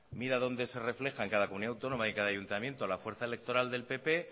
mira donde se refleja en cada comunidad autónoma y en cada ayuntamiento la fuerza electoral del pp